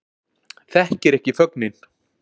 Þekkir ekki fögnin